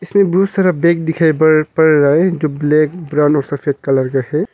इसमें बहुत सारा बैग दिखाई पड़ रहा हैं जो ब्लैक ब्राऊन और सफेद कलर का है।